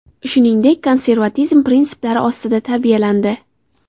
Shuningdek, konservatizm prinsiplari ostida tarbiyalandi.